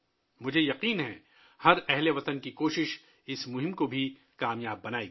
مجھے یقین ہے کہ ہر اہل وطن کی کوششیں اس مہم کو کامیاب بنائیں گی